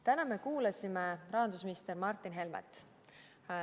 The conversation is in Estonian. Täna me kuulasime rahandusminister Martin Helmet.